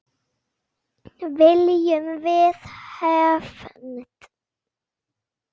Viljum við hefnd?